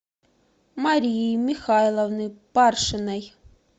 марии михайловны паршиной